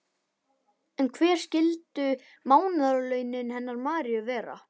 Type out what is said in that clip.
En hver skyldu mánaðarlaunin hennar Maríu vera?